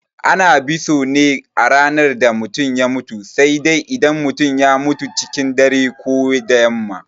Ana biso ne a ranar da mutum ya mutu sai dai idan ya mutum cikin dare ko da yamma.